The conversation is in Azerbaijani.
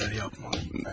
Bir şeylər yapmalıyam mən.